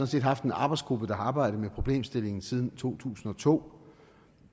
set haft en arbejdsgruppe der har arbejdet med problemstillingen siden to tusind og to